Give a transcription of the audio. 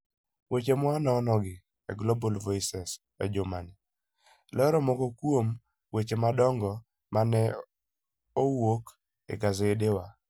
Weche ma wanonogi e Global Voices e jumani lero moko kuom weche madongo ma ne owuok e gasedewa.